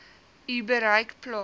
u bereik plaas